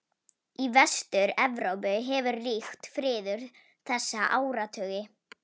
Í Vestur-Evrópu hefur ríkt friður þessa áratugi.